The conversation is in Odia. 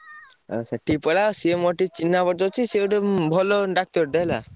ଆଉ ସେ ଠିକି ପଳାଅ ସିଏ ମୋର ଟିକେ ଚିହ୍ନାପରିଚୟ ଅଛି ସିଏ ଗୋଟେ ଭଲ doctor ଟେ ହେଲା।